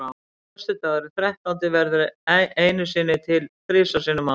Föstudagurinn þrettándi verður einu sinni til þrisvar sinnum á ári.